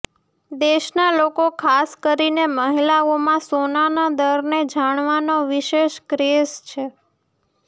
દેશના લોકો ખાસ કરીને મહિલાઓમાં સોનાના દરને જાણવાનો વિશેષ ક્રેઝ છે